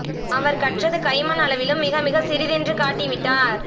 அவர் கற்றது கை மண் அளவிலும் மிக மிக சிறிதென்று காட்டிவிட்டார்